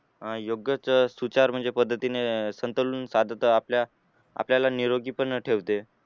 अं योग्यच योग्यच सुविचार म्हणजे पद्धतीने अं संतुलन साधत आपल्या त आपल्याला निरोगी पण ठेवते